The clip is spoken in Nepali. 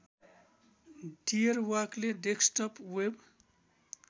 डियरवाकले डेस्कटप वेव